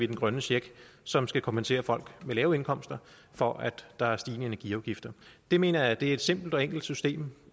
den grønne check som skal kompensere folk med lave indkomster for at der er stigende energiafgifter det mener jeg er et simpelt og enkelt system